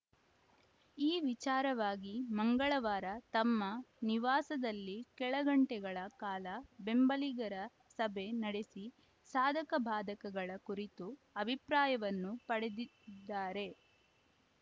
ಈ ವಿಚಾರವಾಗಿ ಮಂಗಳವಾರ ತಮ್ಮ ನಿವಾಸದಲ್ಲಿ ಕೆಲಗಂಟೆಗಳ ಕಾಲ ಬೆಂಬಲಿಗರ ಸಭೆ ನಡೆಸಿ ಸಾಧಕಬಾಧಕಗಳ ಕುರಿತು ಅಭಿಪ್ರಾಯವನ್ನೂ ಪಡೆದಿದ್ದಾರೆ